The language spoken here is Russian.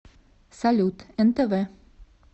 салют нтв